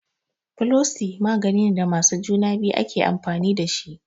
Folosi maganine da masu juna biyu ake amfani dashi